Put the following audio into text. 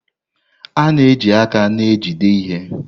A na-eji aka na-ejide ihe.